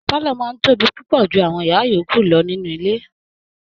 Pálọ̀ọ̀ máa ń tóbi púpọ ju àwọn yàrá yòókù lọ níní ilé